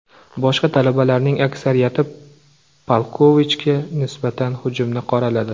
Boshqa talabalarning aksariyati Palkovichga nisbatan hujumni qoraladi.